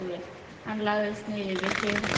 Hann lagðist niður við hlið hennar.